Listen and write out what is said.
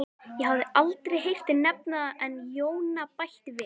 Ég hafði aldrei heyrt þig nefndan en Jóna bætti við